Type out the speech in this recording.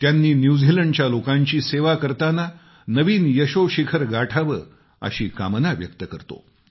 त्यांनी न्यूझीलँडच्या लोकांची सेवा करताना नवीन यशोशिखर गाठावे अशी कामना व्यक्त करतो